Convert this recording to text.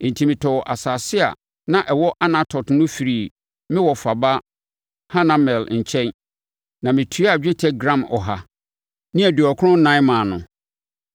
Enti, metɔɔ asase a na ɛwɔ Anatot no firii me wɔfa ba Hanamel nkyɛn na metuaa dwetɛ gram ɔha ne aduɔkron ɛnan (194) maa no.